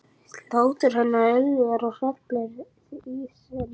Hlátur hennar yljar og hrellir í senn.